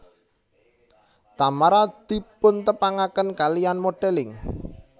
Tamara dipuntepangaken kaliyan modelling